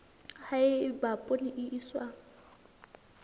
ha eba poone e iswa